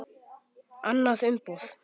Annað umboð.